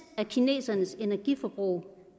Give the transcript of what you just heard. af kinesernes energiforbrug